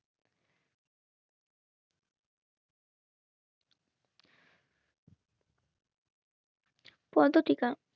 পদ্ম টিকা